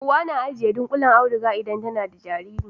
Uwa tana ajiye dunƙullen auduga idan tana da jariri